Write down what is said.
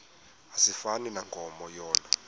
asifani nankomo yona